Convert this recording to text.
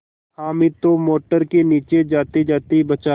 हामिद तो मोटर के नीचे जातेजाते बचा